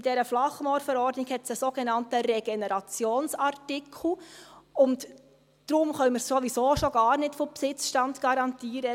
In dieser Flachmoorverordnung gibt es einen sogenannten Regenerationsartikel, und deswegen können wir sowieso schon gar nicht von Besitzstandsgarantie reden.